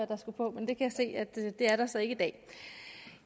der skulle på men jeg kan se at det er der så ikke i dag